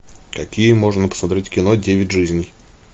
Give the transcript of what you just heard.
какие можно посмотреть кино девять жизней